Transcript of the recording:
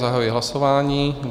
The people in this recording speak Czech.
Zahajuji hlasování.